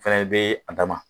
Fana bɛ a danma